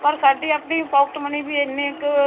ਪਰ ਸਾਡੀ ਆਪਣੀ pocket money ਵੀ ਇੰਨੇ ਕ